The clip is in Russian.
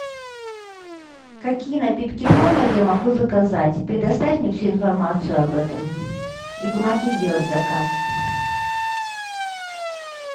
какие напитки в номер я могу заказать предоставь мне всю информацию об этом и помоги сделать заказ